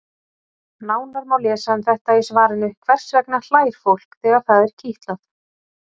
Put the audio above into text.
Nánar má lesa um þetta í svarinu Hvers vegna hlær fólk þegar það er kitlað?